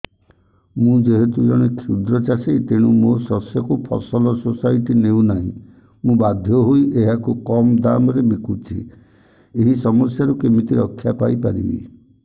ମୁଁ ଯେହେତୁ ଜଣେ କ୍ଷୁଦ୍ର ଚାଷୀ ତେଣୁ ମୋ ଶସ୍ୟକୁ ଫସଲ ସୋସାଇଟି ନେଉ ନାହିଁ ମୁ ବାଧ୍ୟ ହୋଇ ଏହାକୁ କମ୍ ଦାମ୍ ରେ ବିକୁଛି ଏହି ସମସ୍ୟାରୁ କେମିତି ରକ୍ଷାପାଇ ପାରିବି